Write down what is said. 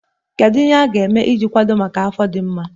Kedu ihe a ga-eme iji kwado maka afọ ime dị mma?